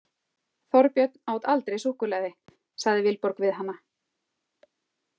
Þorbjörn át aldrei súkkulaði, sagði Vilborg við hana.